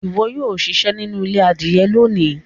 ìwo yóò ṣiṣẹ nínú ilé adìye lóni.